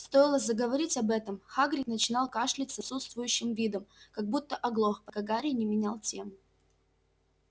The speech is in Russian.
стоило заговорить об этом хагрид начинал кашлять с отсутствующим видом как будто оглох пока гарри не менял тему